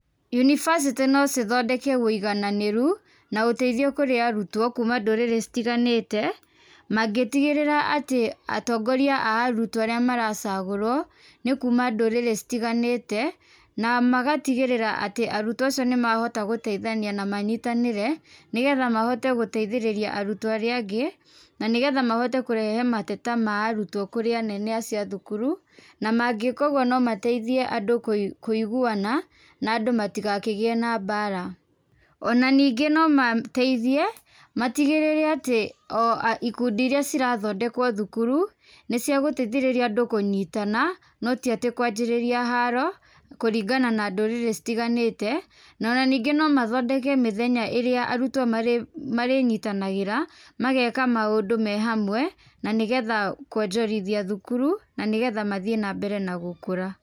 Yunibacitĩ no cithondeke wĩigananĩru, na ũteithio kũrĩ arutwo kuma ndũrirĩ citiganĩte, mangĩtigĩrĩra atĩ, atongoria a arutwo arĩa maracagũrwo nĩ kuma ndũrĩrĩ citiganĩte, na magatigĩrĩra atĩ arutwo acio nĩ mahota gũteithania na manyitanĩre, nĩ getha mahote gũteithĩrĩria arutwo arĩa angĩ, na nĩgetha mahote kũrehe mateta ma arutwo kũrĩ anene acio a thukuru, na mangĩka ũguo no mateithie andũ kũi kũiguwana na andũ ma tigakĩgĩe na mbara, ona ningĩ no mateithie matigĩrĩre ati o a ikundi iria cirathondekwo thukuru nĩ cia gũteithĩrĩria andũ kũnyitana, no tiatĩ kwanjĩrĩria haro, kũringana na ndũrĩrĩ citiganĩte, nona ningĩ no mathondeke mĩthenya irĩa arutwo marĩnyitanagĩra, mageka maũndũ me hamwe, na nĩ getha kwonjorithia thukuru, na nĩ getha mathiĩ na mbere me gũkũra.